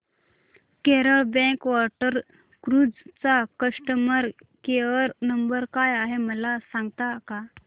Kerala backwater cruise चा customer care number काय आहे मला सांगता का